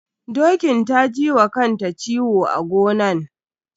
Dokin ta ji wa kanta ciwo a gonan.